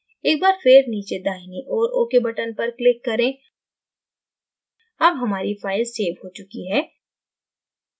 एक बार फिर नीचे दाहिनी ओर ok button पर click करें अब हमारी file सेव हो चुकी है